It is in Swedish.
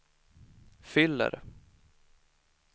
fyller